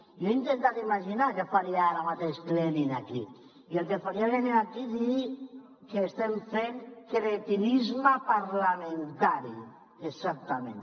jo he intentat imaginar què faria ara mateix lenin aquí i el que faria lenin aquí és dir que estem fent cretinisme parlamentari exactament